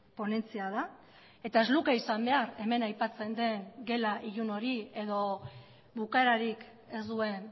ponentzia da eta ez luke izan behar hemen aipatzen den gela ilun hori edo bukaerarik ez duen